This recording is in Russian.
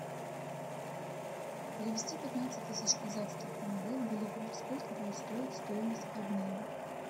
перевести пятнадцать тысяч казахских тенге в боливар сколько будет стоить стоимость обмена